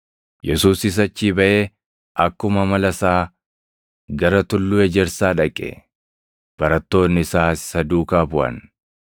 Yesuusis achii baʼee, akkuma amala isaa gara Tulluu Ejersaa dhaqe; barattoonni isaas isa duukaa buʼan.